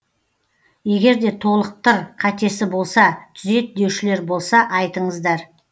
егерде толықтыр қатесі болса түзет деушілер болса айтыңыздар